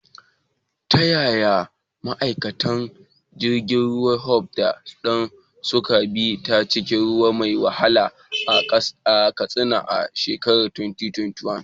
Ta yaya ma’aikatan jirgin ruwa Tope da Dan suka bi ta cikin ruwa mai wahala a Katsina a shekarar 2021?